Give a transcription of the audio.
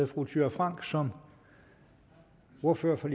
fru thyra frank som ordfører for